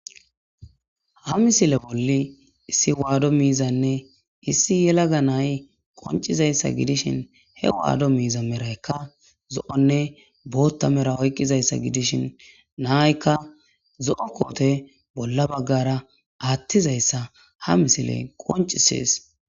Ha misile bolla issi waado miizaynne issi yelaga na'ay qonccizaysa gidishin,He wado miiza marayka zo'onne bootha medho oykizaysa gidishin,na'ayka zo'o koote bola baggara aatizaysa ha misiley qoncisees.